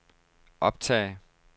optag